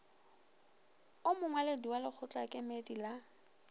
o mongwaledi wa lekgotlakemedi la